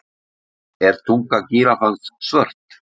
Er tunga gíraffans svört?